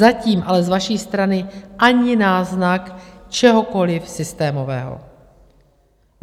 Zatím ale z vaší strany ani náznak čehokoliv systémového.